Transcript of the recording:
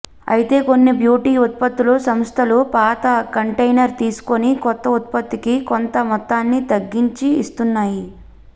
అయితే కొన్ని బ్యూటీ ఉత్పత్తుల సంస్థలు పాత కంటెయినర్ తీసుకొని కొత్త ఉత్పత్తికి కొంత మొత్తాన్ని తగ్గించి ఇస్తున్నాయి